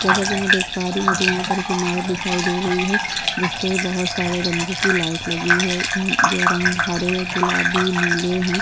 जैसा कि मैं देख पा रही हूँ मुझे यहाँ पर एक इमारत दिखाई दे रही है जिस पर बहुत सारे रंगों की लाइट लगी है ये रंग हरे गुलाबी नीले हैं।